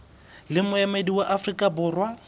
le moemedi wa afrika borwa